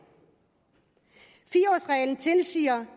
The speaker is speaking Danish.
fire årsreglen tilsiger